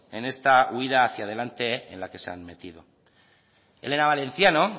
en esta huida hacia adelante en la que se han metido elena valenciano